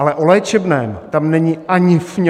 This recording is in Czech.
Ale o léčebném tam není ani fň.